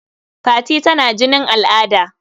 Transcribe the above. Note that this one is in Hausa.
Fati tana jinin al'ada..